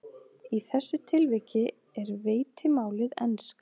Í þessu tilviki er veitimálið enska.